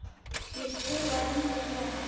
Ég skrifa undir núna.